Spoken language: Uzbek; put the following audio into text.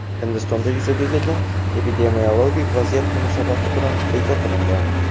Hindistonda yuzaga kelgan epidemiologik vaziyat munosabati bilan bekor qilingan.